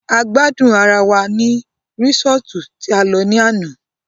A gbádùn ará wá ní resọ́ọ́tu tí a lọ ní àná.